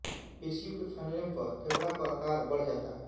पेशियों के फैलने पर फेफड़ों का आकार बढ़ जाता है